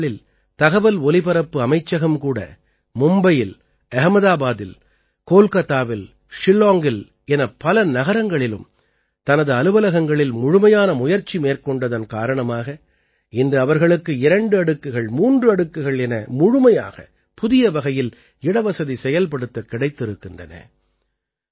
கடந்த நாட்களில் தகவல் ஒலிபரப்பு அமைச்சகம் கூட மும்பையில் அஹமதாபாதில் கோல்காத்தாவில் ஷில்லாங்கில் என பல நகரங்களிலும் தனது அலுவலகங்களில் முழுமையான முயற்சி மேற்கொண்டதன் காரணமாக இன்று அவர்களுக்கு இரண்டு அடுக்குகள் மூன்று அடுக்குகள் என முழுமையாக புதிய வகையில் இடவசதி செயல்படுத்தக் கிடைத்திருக்கின்றன